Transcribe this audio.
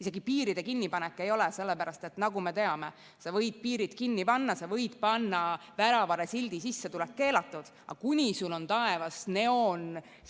Isegi piiride kinnipanek ei ole, sellepärast et nagu me teame, sa võid piirid kinni panna, sa võid panna väravale sildi "Sissetulek keelatud", aga kuni sul on taevas